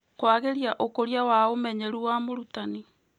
Kwagĩria ũkũria wa ũmenyeru wa mũrutani.